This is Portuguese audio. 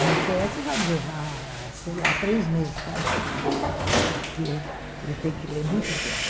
Uma tese vai me levar, sei lá, três meses para ler, porque eu tenho que ler muito de perto.